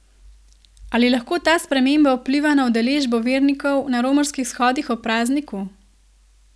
Ali lahko ta sprememba vpliva na udeležbo vernikov na romarskih shodih ob prazniku?